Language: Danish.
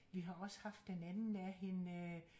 Vi har også haft den anden af hende øh